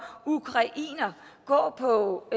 ukrainere gå på